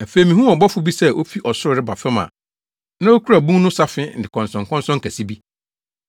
Afei mihuu ɔbɔfo bi sɛ ofi ɔsoro reba fam a na okura bun no safe ne nkɔnsɔnkɔnsɔn kɛse bi.